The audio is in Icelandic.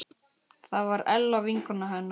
Það var Ella vinkona hennar.